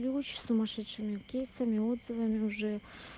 за очень сумасшедшие кейсами отзывами уже